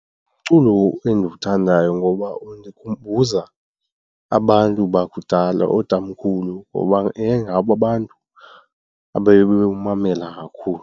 Umculo endiwuthandayo ngoba undikhumbuza abantu bakudala ootamkhulu ngoba yayingabo abantu ababewumamela kakhulu.